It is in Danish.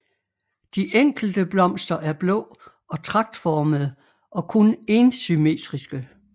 De enkelte blomster er blå og tragtformede og kun énsymmetriske